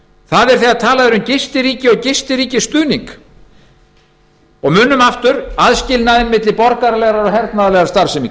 það er þegar talað er um gistiríki eða gistiríkisstuðning og munum aðskilnaðinn á milli borgaralegrar